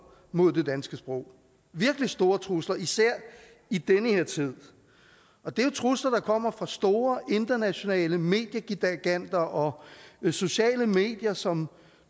mod det danske sprog virkelig store trusler især i den her tid og det er trusler der kommer fra store internationale mediegiganter og sociale medier som